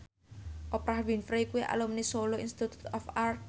Oprah Winfrey kuwi alumni Solo Institute of Art